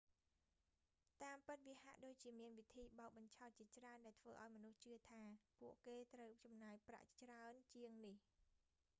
តាមពិត វាហាក់ដូចជាមានវិធីបោកបញ្ឆោតជាច្រើនដែលធ្វើឲ្យមនុស្សជឿថាពួកគេត្រូវចំណាយប្រាក់ច្រើនជាងនេះ